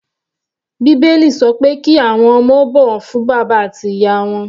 Bíbélì sọ pé kí àwọn ọmọ ó bọ̀wọ̀ fún bàbá àti ìyá wọn.